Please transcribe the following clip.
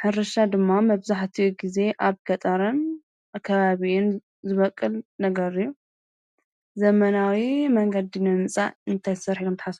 ሕርሻ ድማ መብዛሕእት እዩ፤ ጊዜ ኣብ ገጣርን ኣከባብኡን ዝበቅል ነገርዩ ዘመናዊ መንገዲኖ ንጻእ እንተይሠር ሕለምታ?